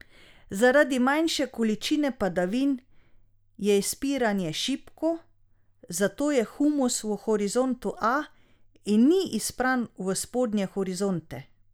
Zaradi manjše količine padavin je izpiranje šibko, zato je humus v horizontu A in ni izpran v spodnje horizonte.